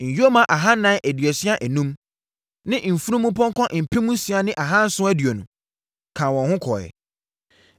nyoma ahanan aduasa enum (435) ne mfunumpɔnkɔ mpem nsia ne ahanson aduonu (6,720) kaa wɔn ho kɔeɛ.